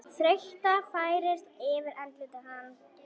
Þreyta færist yfir andlit hans.